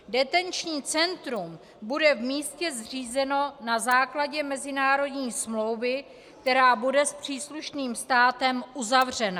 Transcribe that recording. Detenční centrum bude v místě zřízeno na základě mezinárodní smlouvy, která bude s příslušným státem uzavřena.